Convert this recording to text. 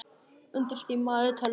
Undir því malaði tölvan.